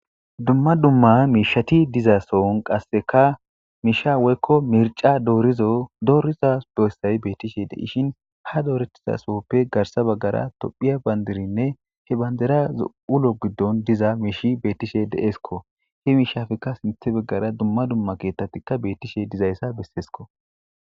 Dumma dumma miishati diza sohon qasseka miisha woykko mirca doorido beessay bettishe de'ishin ,ha dooretida sooppe garssa baggara tophiya bandirinne he bandirasu ulo giddon diza miishi bettishe deesko. He miishappekka sintha baggara dumma dumma keeththatika bettishe diza issa besseesko.